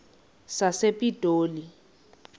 sasepitoli